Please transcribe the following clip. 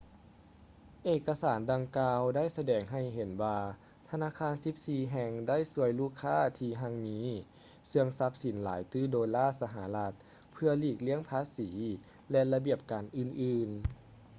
ເອກະສານດັ່ງກ່າວໄດ້ສະແດງໃຫ້ເຫັນວ່າທະນາຄານສິບສີ່ແຫ່ງ ໄດ້ຊ່ວຍລູກຄ້າທີ່ຮັ່ງມີເຊື່ອງຊັບສິນຫຼາຍຕື້ໂດລາສະຫະລັດເພື່ອຫລີກລ່ຽງພາສີ ແລະ ລະບຽບການອື່ນໆ